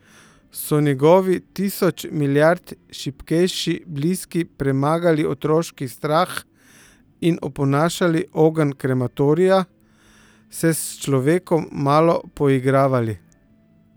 So njegovi tisoč mirijad šibkejši bliski premagali otroški strah in oponašali ogenj krematorija, se s človekom malo poigravali?